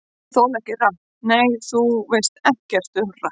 Ég þoli ekki rapp Nei, þú veist ekkert um rapp.